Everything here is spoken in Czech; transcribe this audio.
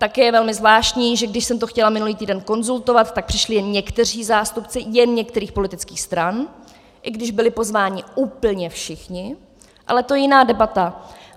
Také je velmi zvláštní, že když jsem to chtěla minulý týden konzultovat, tak přišli jen někteří zástupci jen některých politických stran, i když byli pozváni úplně všichni, ale to je jiná debata.